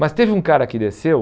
Mas teve um cara que desceu,